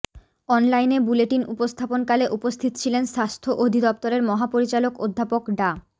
অনলাইনে বুলেটিন উপস্থাপনকালে উপস্থিত ছিলেন স্বাস্থ্য অধিদফতরের মহাপরিচালক অধ্যাপক ডা